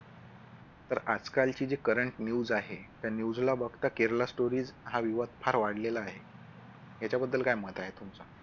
तर आजकाल ची जी current news आहे त्या news ला बघता Kerala story हा विवाद फार वाढलेला आहे. याच्याबद्दल काय मत आहे तुमचं